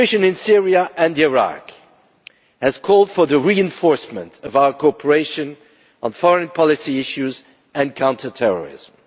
The situation in Syria and Iraq has called for the reinforcement of our cooperation on foreign policy issues and counter terrorism.